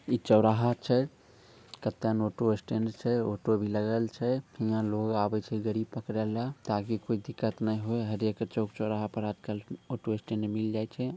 ई चौराहा छे | केतना ऑटो स्टैंड छे | ऑटो भी लागल छे | इहाँ लोग आवे छे गरीब पकड़े ला ताकि कोई दिक्कत न होये| हर एक चौ चौराहा पे ऑटो स्टैंड मिल जाये छे|